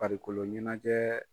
Farikolo ɲɛnajɛ